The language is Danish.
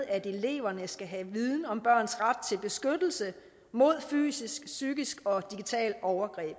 at eleverne skal have viden om børns ret til beskyttelse mod fysisk psykisk og digitalt overgreb i